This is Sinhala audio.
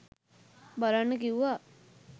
බලන්න කිව්ව.